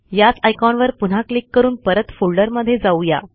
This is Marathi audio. याच आयकॉनवर पुन्हा क्लिक करून परत फोल्डरमधे जाऊ या